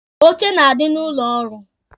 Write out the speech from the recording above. Oche na-adị n'ụlọ ọrụ.